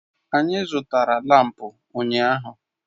Anyị zụtara lámpu ụnyaahụ